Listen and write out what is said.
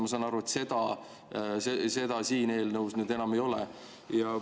Ma saan aru, et seda siin eelnõus nüüd enam ei ole.